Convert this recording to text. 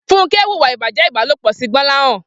Funke wúwà ibàjẹ̀ ibàlópọ̀ si Gbolahan